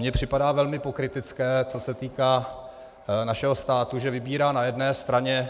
Mně připadá velmi pokrytecké, co se týká našeho státu, že vybírá na jedné straně